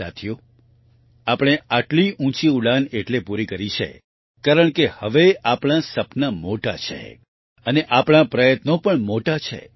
સાથીઓ આપણે આટલી ઉંચી ઉડાન એટલે પૂરી કરી છે કારણ કે હવે આપણાં સપના મોટા છે અને આપણાં પ્રયત્નો પણ મોટા છે